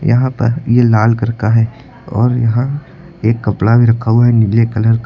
यहां पर ये लाल कलर का है और यहां एक कपड़ा भी रखा हुआ है नीले कलर का।